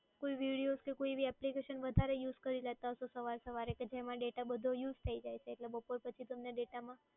કોઈ videos કે કોઈ એવી application વધારે use કરી લેતા હશો સવારે સવારે કે જેમાં બધો data use થઈ જાય. એટલે પછી બપોર પછી તમને data માં